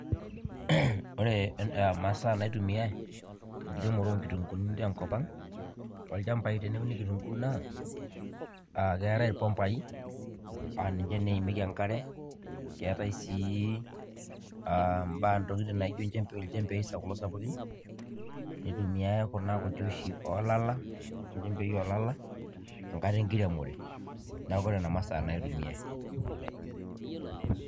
Ore imasaa naitumiai te nkiremore o nkitung'uuni te nkop ang' toolchambai teneuni kitung'uu naa aa keetai irpombai aa ninje naa eimieki enkare, keetai sii aa mbaa ntokitin naijo inchembei iljembei sap kulo sapukin, nitumiai kuna kuti oshi oo lala inchembei oo lala enkata enkiremor. Neeku nena masaa naa itumiai.